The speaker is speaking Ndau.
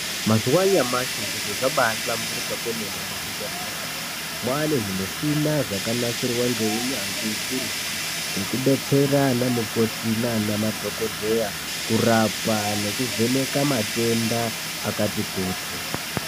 Mazuwa anyamashi zviro zvakahlamburika kwemene muzvibhedhleramwo. Mwaane zvimushina zvakanasirwa ngeunyanzvi ukurutu, zvekubetsera anamukoti naanamadhokodheya ,kurapa nekuvheneka matenda akati kuti.